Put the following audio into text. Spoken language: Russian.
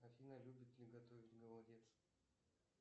афина любит ли готовить голодец